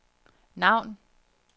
navn